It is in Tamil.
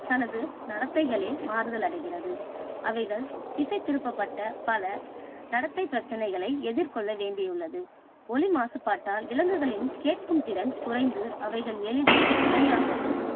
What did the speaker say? தனது நடத்தைகளில் மாறுதல் அடைகிறது. அவைகள் திசைதிருப்பப் பட்ட பல நடத்தை பிரச்சனைகளை எதிர்கொள்ள வேண்டியுள்ளது. ஒலி மாசுபாட்டால் விலங்குகளின் கேட்கும் திறன் குறைந்து அவைகள் எளிதில் இரையாகவும்